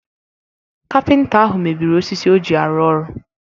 Kapịnta ahụ mebiri osisi o ji arụ ọrụ